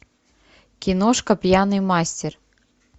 киношка пьяный мастер